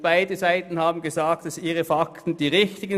Beide Seiten haben gesagt, ihre Fakten seien richtig.